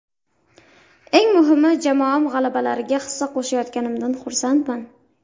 Eng muhimi jamoam g‘alabalariga hissa qo‘shayotganimdan xursandman.